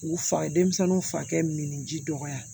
U fa denmisɛnninw fa kɛ min ji dɔgɔya